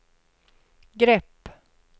grepp